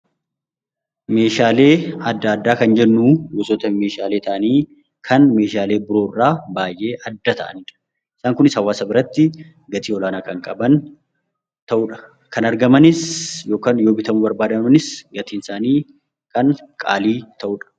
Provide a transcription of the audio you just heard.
Meeshaalee adda addaa kan jennuun gosoota meehaalee ta'anii kan meeshaalee biroorraa baayyee adda ta'aniidha isaan kunis hawaasa biratti gatii olaanaa kan qaban ta'udha. Kan argamanis yookaan yoo bitamuu barbaadanis gatii isaanii kan qaalii ta'udha.